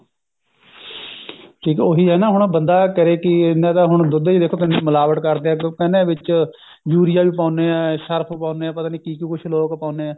ਠੀਕ ਐ ਉਹੀ ਹੈ ਨਾ ਹੁਣ ਬੰਦਾ ਕਹੇ ਕਿ ਇਹਨਾਂ ਦਾ ਹੁਣ ਦੁੱਧ ਚ ਦੇਖੋ ਕਿੰਨੀ ਮਿਲਾਵਟ ਕਰਦੇ ਐ ਕਿਉਂਕਿ ਇਹਨਾਂ ਵਿੱਚ ਯੂਰੀਆ ਵੀ ਪਾਉਂਦੇ ਆ ਸਰਫ਼ ਪਾਉਂਦੇ ਆ ਪਤਾ ਨੀ ਕਿ ਕਿ ਕੁੱਛ ਲੋਕ ਪਾਉਣੇ ਐ